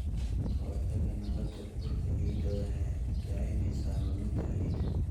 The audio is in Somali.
Ka hortagga nabaad-guurka ciidda waxay yaraynaysaa luminta ciidda.